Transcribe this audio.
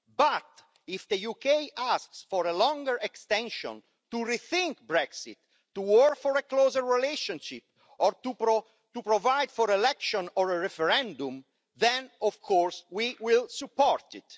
But if the UK asks for a longer extension to rethink Brexit to offer a closer relationship or to provide for election or a referendum then, of course, we will support it.